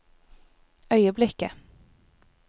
øyeblikket